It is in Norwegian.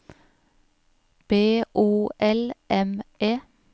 B O L M E